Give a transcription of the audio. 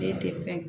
Den tɛ fɛn